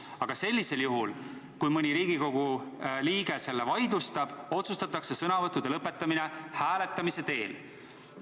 Aga juhul, kui mõni Riigikogu liige selle vaidlustab, otsustatakse sõnavõttude lõpetamine hääletamise teel.